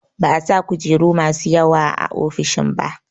Ba'a sa kujeru masu yawa a ofishin ba